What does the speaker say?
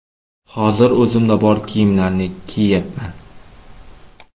Hozir o‘zimda bor kiyimlarni kiyyapman.